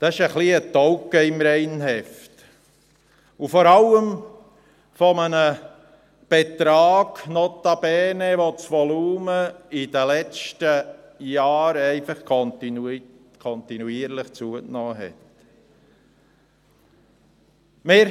Dies ist ein bisschen ein Fleck im Reinheft und vor allem bei einem Betrag notabene, bei welchem das Volumen in den letzten Jahren kontinuierlich zugenommen hat.